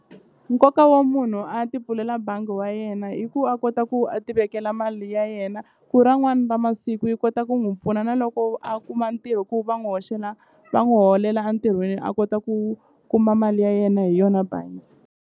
Nkoka wa munhu a ti pfulela bangi wa yena i ku a kota ku a ti vekela mali ya yena va masiku yi kota ku n'wi pfuna na loko a kuma ntirho ku va n'wu hoxela va n'wu holela a ntirhweni a kota ku kuma mali ya yena hi yona bangi.